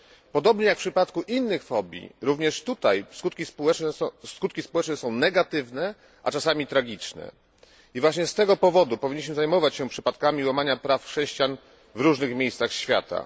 Podobnie jak w przypadku innych fobii, również tutaj skutki społeczne są negatywne, a czasami tragiczne i właśnie z tego powodu powinniśmy zajmować się przypadkami łamania praw chrześcijan w różnych miejscach świata.